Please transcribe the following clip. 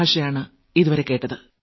വളരെയേറെ നന്ദി